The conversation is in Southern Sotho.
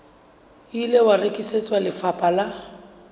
ile wa rekisetswa lefapha la